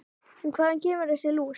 En hvaðan kemur þessi lús?